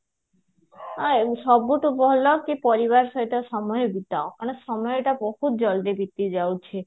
ଅ ସବୁଠୁ ଭଲ ଟିକେ ପରିବାର ସହିତ ସମୟ ବିତାଅ ମାନେ ସମୟ ଟା ବହୁତ ଜଲ୍ଦି ବିତିଯାଉଛି